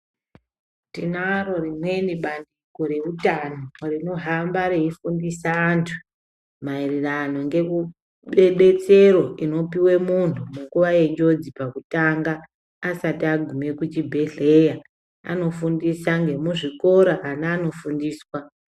Tinaro rimweni bandiko reutano rinohamba reifundisa antu maererano ngebetsero inopuwe muntu munguva yenjodzi pakutanga asati agume kuchibhedhlera anofundisa nemuzvikora ana anofundiswa.